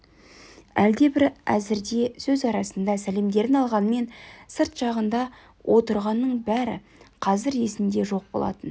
әлде бір әзірде сөз арасында сәлемдерін алғанмен сырт жағында отырғанның бәрі қазір есінде жоқ болатын